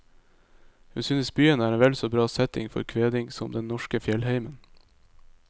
Hun synes byen er en vel så bra setting for kveding som den norske fjellheimen.